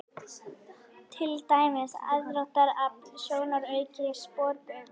Til dæmis: aðdráttarafl, sjónauki og sporbaugur.